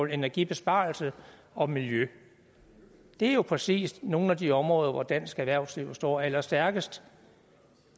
energibesparelse og miljø det er jo præcis nogle af de områder hvor dansk erhvervsliv står allerstærkest